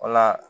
Wala